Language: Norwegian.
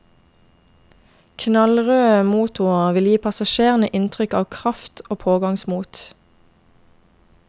Knallrøde motorer vil gi passasjerene inntrykk av kraft og pågangsmot.